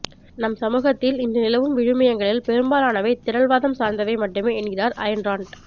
நம் சமூகத்தில் இன்று நிலவும் விழுமியங்கலில் பெரும்பாலானவை திரள்வாதம் சார்ந்தவை மட்டுமே என்கிறார் அயன் ரான்ட்